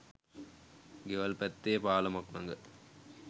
ගෙවල් පැත්තේ පාලමක් ළඟ